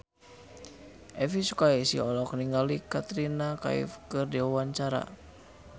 Elvi Sukaesih olohok ningali Katrina Kaif keur diwawancara